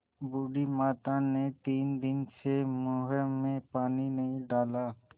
बूढ़ी माता ने तीन दिन से मुँह में पानी नहीं डाला